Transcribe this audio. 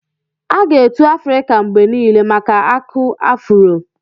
A ga-etu Afrịka mgbe niile maka Aku afuro.